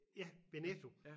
Ja ved Netto